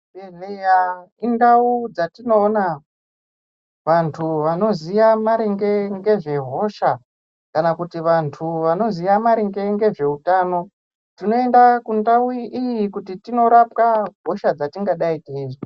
Chibhedhlera indau dzatinoona vantu vanoziya maringe nezvehosha kana kuti vantu vanoziya maringe nezvehutano tinoenda kundau iyi kuti tindorapwa hosha dzatingadai teizwa.